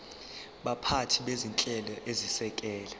baphathi bezinhlelo ezisekela